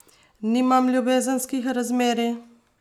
Nimam ljubezenskih razmerij!